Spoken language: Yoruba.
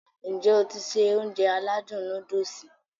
N jẹ́ o ti se Ounjẹ aládùn nóódùsì?